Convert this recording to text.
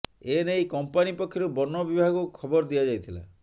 ଏ ନେଇ କମ୍ପାନି ପକ୍ଷରୁ ବନ ବିଭାଗକୁ ଖବର ଦିଆଯାଇଥିଲା